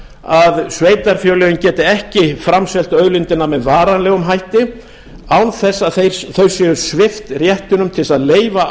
að sveitarfélögin geti ekki framselt auðlindina með varanlegum hætti án þess að þau séu svipt réttinum til þess að leyfa